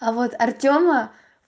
а вот артёма